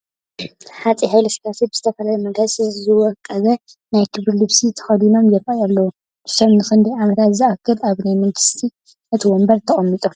ሃፀይ ሃይለስላሴ ብዝተፈላለዩ መጋየፅታት ዝወቀበ ናይ ክብሪ ልብሲ ተኸዲኖም ይርአዩ ኣለዉ፡፡ ንሶም ንኽንደይ ዓመታት ዝኣክል ኣብ ናይ መንግስትነት ወንበር ተቐሚጦም?